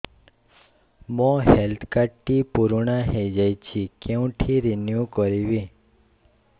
ମୋ health card ଟି ପୁରୁଣା ହେଇଯାଇଛି କେଉଁଠି ରିନିଉ କରିବି